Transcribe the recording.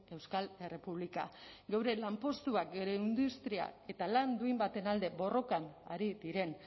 euskal errepublika geure lanpostuak geure industria eta lan duin baten alde borrokan ari diren